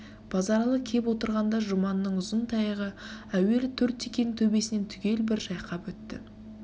базаралы кеп отырғанда жұманның ұзын таяғы әуелі төрт текенің тебесінен түгел бір жайқап өтті